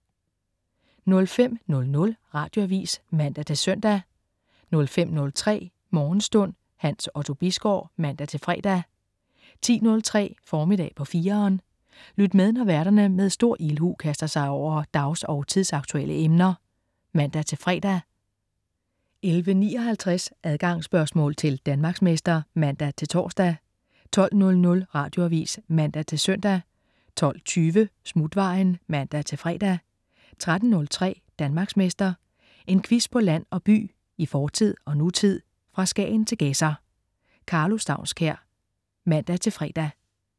05.00 Radioavis (man-søn) 05.03 Morgenstund. Hans Otto Bisgaard (man-fre) 10.03 Formiddag på 4'eren. Lyt med, når værterne med stor ildhu kaster sig over dags- og tidsaktuelle emner (man-fre) 11.59 Adgangsspørgsmål til Danmarksmester (man-tors) 12.00 Radioavis (man-søn) 12.20 Smutvejen (man-fre) 13.03 Danmarksmester. En quiz på land og by, i fortid og nutid, fra Skagen til Gedser. Karlo Staunskær (man-fre)